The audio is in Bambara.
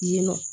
Yen nɔ